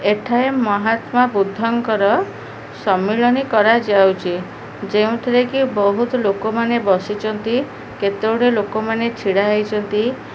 ଏଠାରେ ମହାତ୍ମା ବୁଦ୍ଧଙ୍କର ସମ୍ମିଳନୀ କରାଯାଉଛି ଯେଉଁ ଥିରେ କି ବହୁତ ଲୋକମାନେ ବସିଛନ୍ତି କେତେଗୁଡେ ଲୋକମାନ ଛିଡା ହେଇଛନ୍ତି।